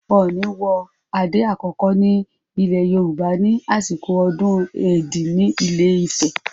Ọọ̀ni wọ adé àkọ́kọ́ ní ilẹ̀ Yorùbá ní àsìkò ọdún Èdí ní Ilé-Ifẹ̀.